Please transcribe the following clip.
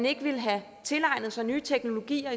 ikke ville have tilegnet sig nye teknologier